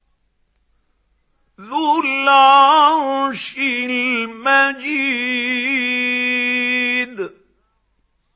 ذُو الْعَرْشِ الْمَجِيدُ